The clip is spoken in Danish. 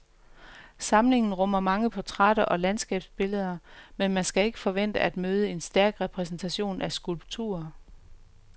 Samlingen rummer mange portrætter og landskabsbilleder, men man skal ikke forvente at møde en stærk repræsentation af skulpturer.